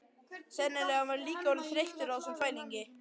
Sennilega var hann líka orðinn þreyttur á þessum þvælingi.